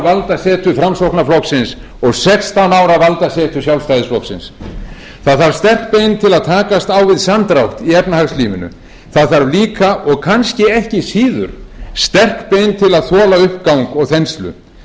valdasetu framsóknarflokksins og sextán ára valdasetu sjálfstæðisflokksins það þarf sterk bein til að takast á við samdrátt í efnahagslífinu það þarf líka og kannski ekki síður sterk bein til að þola uppgang og þenslu það skiptir máli að halda höfði fara